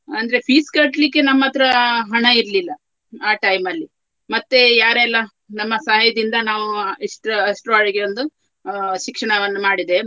ಅಂದ್ರೆ fees ಕಟ್ಲಿಕ್ಕೆ ನಮ್ಮತ್ರ ಹಣ ಇರ್ಲಿಲ್ಲ ಆ time ಅಲ್ಲಿ ಮತ್ತೆ ಯಾರೆಲ್ಲ ನಮ್ಮ ಸಹಾಯದಿಂದ ನಾವು ಇಷ್ಟ್ರ~ ಅಷ್ಟರವರೆಗೆ ಒಂದು ಆ ಶಿಕ್ಷಣವನ್ನು ಮಾಡಿದೆ.